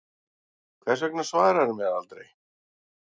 Hvers vegna svaraðirðu mér aldrei?